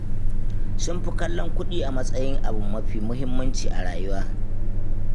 Sun fi kallon kuɗi a matsayin abu mafi muhimmanci a rayuwa.